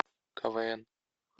квн